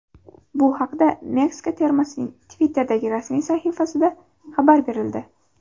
Bu haqda Meksika termasining Twitter’dagi rasmiy sahifasida xabar berildi .